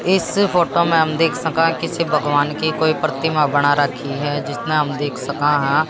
इस फोटो में हम देख सका किसी भगवान की कोई प्रतिमा बना रखी है जिस में हम देख सका हां।